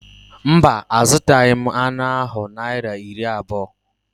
Mba, a zụtaghị m anụ ahụ Naịra iri abụọ